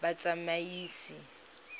batsamaisi